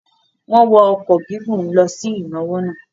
Wọ́n wọ ọkọ̀ gígùn lọ sí ìnáwó náà.